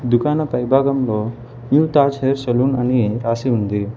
దుకాణ పై భాగంలో new Taj hair salon అని రాసి ఉంది.